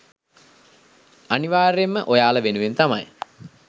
අනිවාර්යයෙන්ම ඔයාලා වෙනුවෙන් තමයි